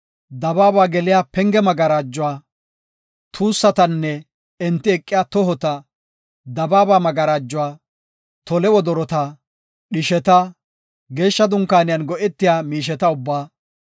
dabaaba geliya penge magarajuwa, tuussatanne, enti eqiya tohota, dabaaba magarajuwa, tole wodorota, dhisheta, Geeshsha Dunkaaniyan go7etiya miisheta ubbaa,